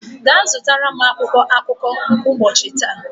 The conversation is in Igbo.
gaa zụtara m akwụkwọ akụkọ nke ụbọchi taa!